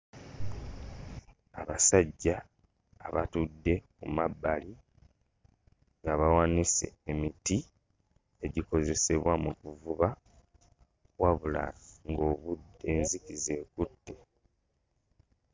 Abasajja abatudde ku mabbali nga bawanise emiti egikozesebwa mu kuvuba wabula ng'obudde enzikiza ekutte.